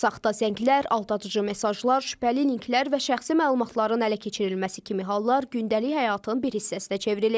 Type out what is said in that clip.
Saxta zənglər, aldadıcı mesajlar, şübhəli linklər və şəxsi məlumatların ələ keçirilməsi kimi hallar gündəlik həyatın bir hissəsinə çevrilib.